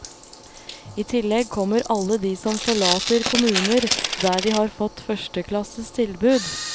I tillegg kommer alle de som forlater kommuner der de har fått førsteklasses tilbud.